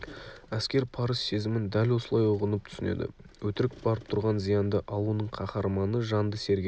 әскер парыз сезімін дәл осылай ұғынып түсінеді өтірік барып тұрған зиянды ал оның қаһарманы жанды сергек